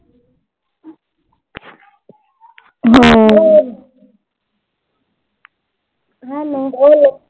hello